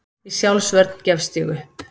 Í sjálfsvörn gefst ég upp.